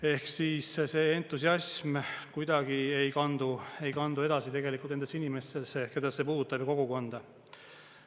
Ehk siis see entusiasm kuidagi ei kandu edasi tegelikult nendesse inimestesse, keda see puudutab, ja kogukonda.